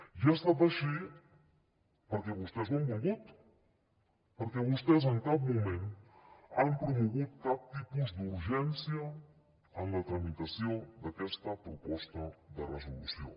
i ha estat així perquè vostès ho han volgut perquè vostès en cap moment han promogut cap tipus d’urgència en la tramitació d’aquesta proposta de resolució